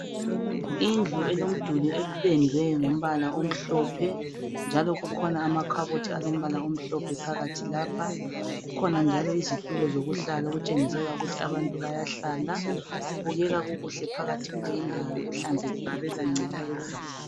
Indlu elomduli opendwe ngombala omhlophe njalo kukhona amakhabothi alombala omhlophe phakathi lapha. Kukhona njalo izitulo zokuhlala okutshengisela ukuthi abantu bayahlala. Kubukeka kukuhle phakathi kuleyindawo, kuhlanzekile akula ncekeza.